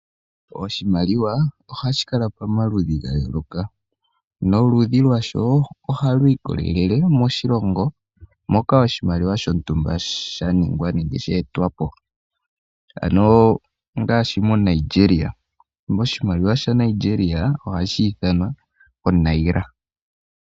Oshimaliwa ohashi kala pamaludhi ga yooloka noludhi lwasho ohalu ikolele moshilongo moka oshimaliwa shontumba sha ningwa nenge she etwa po, ano ngaashi moNigeria oshimaliwa shaNigeria ohashi ithanwa onaira.